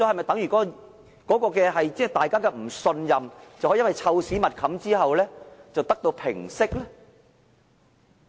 大家的不信任可否因為"臭屎密冚"之後而得到平息呢？